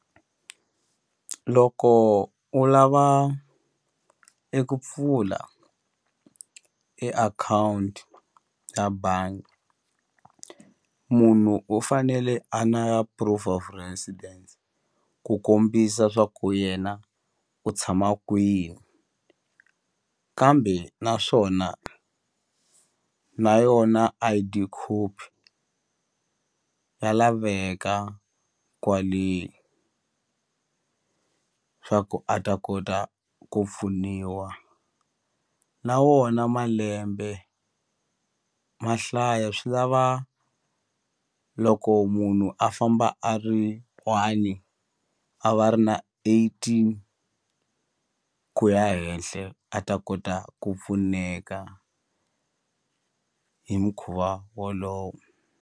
Loko u lava eku pfula e akhawunti ya bangi munhu u fanele a na proof of residence ku kombisa swa ku yena u tshama kwihi kambe naswona na yona I_D copy ya laveka kwale swa ku a ta kota ku pfuniwa na wona malembe mahlaya swi lava loko munhu a famba a ri one a va ri na eighteen ku ya henhle a ta kota ku pfuneka hi mukhuva wolowo.